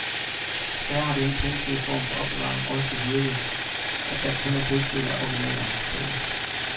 Desværre har denne primitive form for opbevaring også bevirket, at der kun er brudstykker af originalerne tilbage.